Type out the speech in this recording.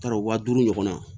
T'a dɔn waa duuru ɲɔgɔnna